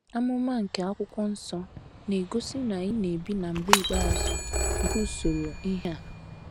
Amụma nke akwụkwọ nsọ na-egosi na anyị na - ebi “ na mgbe ikpeazụ ” nke usoro ihe a.